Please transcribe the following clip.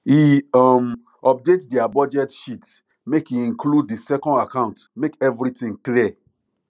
e um update their budget sheet make e include the second account make everything clear